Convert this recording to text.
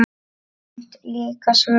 Samt líka svöng.